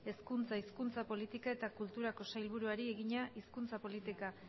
hezkuntza hizkuntza politika eta kulturako sailburuari egina hizkuntza politika